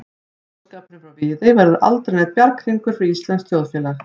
Boðskapurinn frá Viðey verður aldrei neinn bjarghringur fyrir íslenskt þjóðfélag.